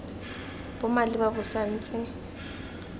bo maleba bo sa ntse